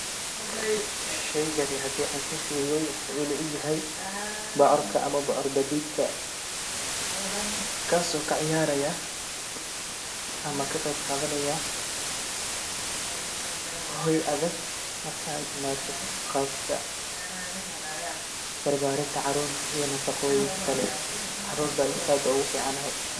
Sheeygani hadaan si firiyeey wuxu ila egyahay, boocorka ama boor badidkaa kaso kaciyarayaa ama kaqeeb qadhanaya hooy adhaag markeey imaato qabkaa barbarintaa caruurta iyo nafaqooyinka kalee caruurta ayey aad ogu ficantahy